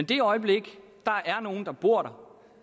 det øjeblik der er nogen der bor